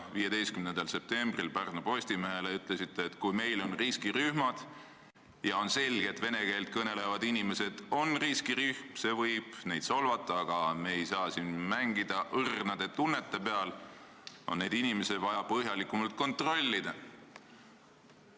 15. septembril ütlesite Pärnu Postimehele, et kui meil on riskirühmad, ja on selge, et vene keelt kõnelevad inimesed on riskirühm – see võib neid solvata, aga me ei saa siin mängida õrnade tunnete peal –, on neid inimesi vaja põhjalikumalt kontrollida.